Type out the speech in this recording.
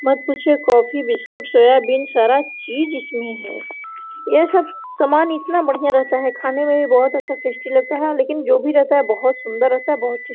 मत पूछिए coffee biscuit soyabean सारा चीज इसमें है ये सब सामान इतना बढ़िया रहता है खाने में भी बहुत अच्छा टेस्ट लगता है लेकिन जो भी रहता है बहुत सुन्दर रहता है बहुत --